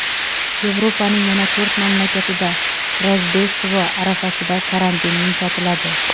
Yevropaning yana to‘rt mamlakatida Rojdestvo arafasida karantin yumshatiladi.